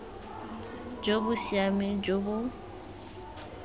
jo bo siameng jo bo